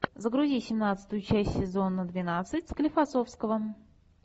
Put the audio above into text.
загрузи семнадцатую часть сезона двенадцать склифосовского